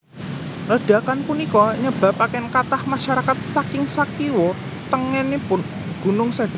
Ledakan punika nyababaken kathah masyarakat saking sakiwa tengenipun gunung seda